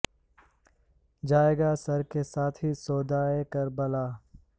جائے گا سر کے ساتھ ہی سودائے کر بلا